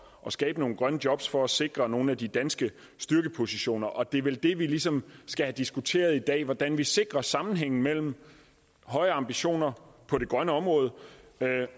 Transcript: at skabe nogle grønne jobs for at sikre nogle af de danske styrkepositioner og det er vel det vi ligesom skal have diskuteret i dag altså hvordan vi sikrer sammenhængen mellem høje ambitioner på det grønne område